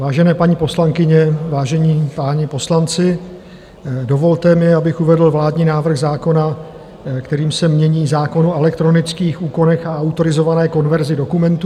Vážené paní poslankyně, vážení páni poslanci, dovolte mi, abych uvedl vládní návrh zákona, kterým se mění zákon o elektronických úkonech a autorizované konverzi dokumentů.